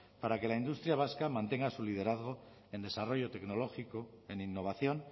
para que la industria vasca mantenga su liderazgo en desarrollo tecnológico en innovación